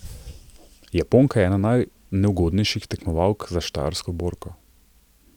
Japonka je ena najneugodnejših tekmovalk za štajersko borko.